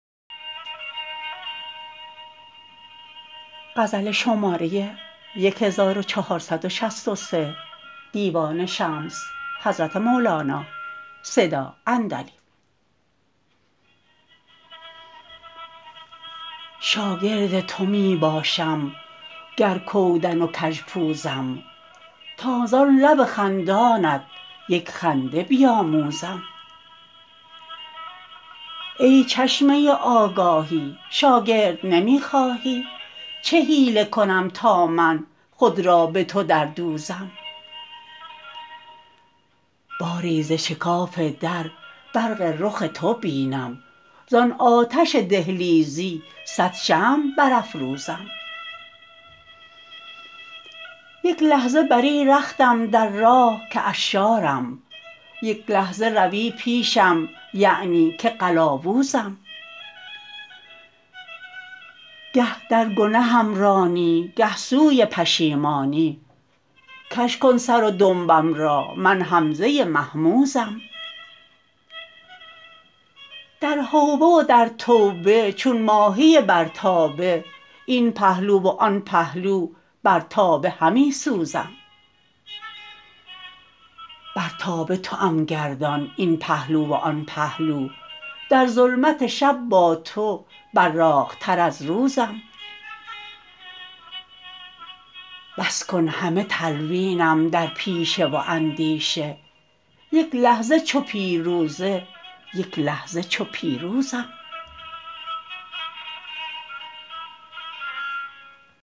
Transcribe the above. شاگرد تو می باشم گر کودن و کژپوزم تا زان لب خندانت یک خنده بیاموزم ای چشمه آگاهی شاگرد نمی خواهی چه حیله کنم تا من خود را به تو دردوزم باری ز شکاف در برق رخ تو بینم زان آتش دهلیزی صد شمع برافروزم یک لحظه بری رختم در راه که عشارم یک لحظه روی پیشم یعنی که قلاوزم گه در گنهم رانی گه سوی پشیمانی کژ کن سر و دنبم را من همزه مهموزم در حوبه و در توبه چون ماهی بر تابه این پهلو و آن پهلو بر تابه همی سوزم بر تابه توام گردان این پهلو و آن پهلو در ظلمت شب با تو براقتر از روزم بس کن همه تلوینم در پیشه و اندیشه یک لحظه چو پیروزه یک لحظه چو پیروزم